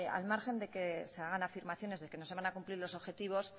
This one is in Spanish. al margen que se hagan afirmaciones de que no se van cumplir los objetivos